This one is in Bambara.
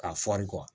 K'a fɔri kuwa